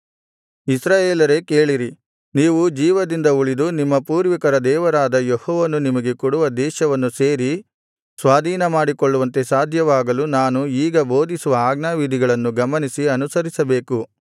ಇಸ್ರಾಯೇಲರೇ ಕೇಳಿರಿ ನೀವು ಜೀವದಿಂದ ಉಳಿದು ನಿಮ್ಮ ಪೂರ್ವಿಕರ ದೇವರಾದ ಯೆಹೋವನು ನಿಮಗೆ ಕೊಡುವ ದೇಶವನ್ನು ಸೇರಿ ಸ್ವಾಧೀನಮಾಡಿಕೊಳ್ಳುವಂತೆ ಸಾಧ್ಯವಾಗಲು ನಾನು ಈಗ ಬೋಧಿಸುವ ಆಜ್ಞಾವಿಧಿಗಳನ್ನು ಗಮನಿಸಿ ಅನುಸರಿಸಬೇಕು